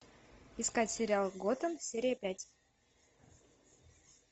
искать сериал готэм серия пять